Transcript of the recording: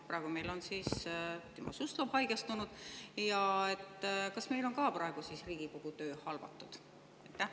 Praegu on Timo Suslov haigestunud ja kas ka praegu on Riigikogu töö halvatud?